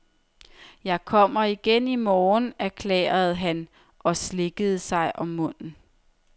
Jeg kommer igen i morgen, erklærede han og slikkede sig om munden.